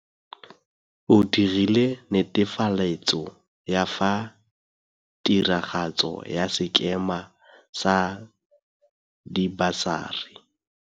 O dirile netefaletso ya fa tiragatso ya sekema sa dibasari.